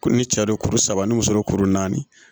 Ko ni cɛ don kuru saba ni muso don kuru naani